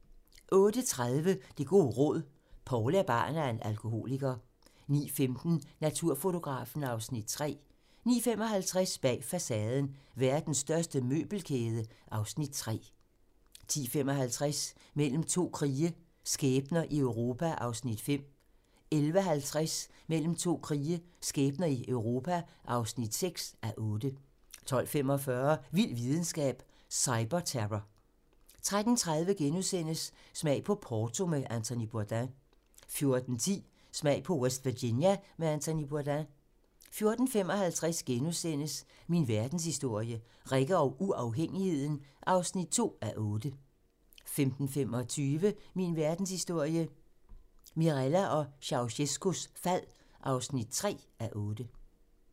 08:30: Det gode råd: Poul er barn af en alkoholiker 09:15: Naturfotografen (Afs. 3) 09:55: Bag facaden: Verdens største møbelkæde (Afs. 3) 10:55: Mellem to krige - skæbner i Europa (5:8) 11:50: Mellem to krige - skæbner i Europa (6:8) 12:45: Vild videnskab: Cyberterror 13:30: Smag på Porto med Anthony Bourdain * 14:10: Smag på West Virginia med Anthony Bourdain 14:55: Min verdenshistorie - Rikke og uafhængigheden (2:8)* 15:25: Min verdenshistorie - Mirella og Ceaucescaus fald (3:8)